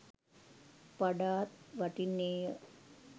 වඩාත් වටින්නේය.